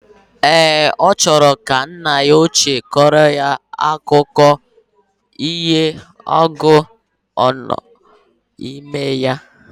Ee, ochoro ka nna ya oche koro ya akụko iho agu no na ime ya.